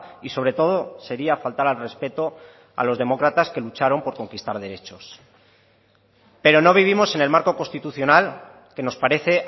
y sobre todo sería faltar al respeto a los demócratas que lucharon por conquistar derechos pero no vivimos en el marco constitucional que nos parece